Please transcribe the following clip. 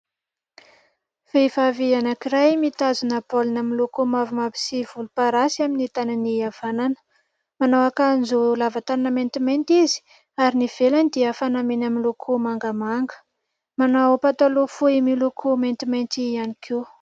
Vehivavy anankiray mitazona baolina miloko mavomavo sy volomparasy amin'ny tànany havanana. Manao akanjo lava tànana maintimainty izy ary ny ivelany dia fanamiana miloko mangamanga. Manao pataloha fohy miloko maintimainty ihany koa.